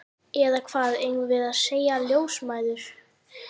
Eða hvað eigum við að segja, ljósmæður?